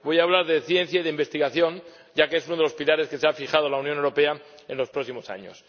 Voy a hablar de ciencia y de investigación, ya que es uno de los pilares que se ha fijado la Unión Europea en los próximos años.